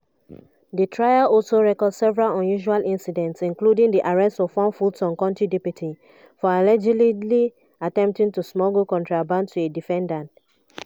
di trial also record several unusual incidents including di arrest of one fulton county deputy for allegedly attempting to smuggle contraband to a defendant.